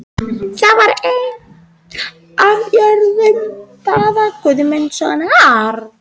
Það var ein af jörðum Daða Guðmundssonar.